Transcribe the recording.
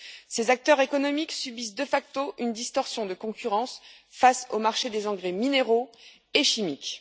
Ces acteurs économiques subissent de facto une distorsion de concurrence face au marché des engrais minéraux et chimiques.